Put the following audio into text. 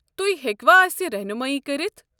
تُہۍ ہیٚکوٕ اسہِ رحنُمٲیی كٔرِتھ؟